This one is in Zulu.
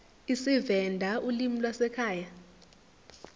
isivenda ulimi lwasekhaya